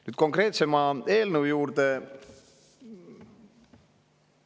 Nüüd konkreetse eelnõu juurde.